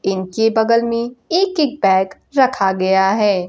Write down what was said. इनके बगल में एक एक बैग रखा गया है।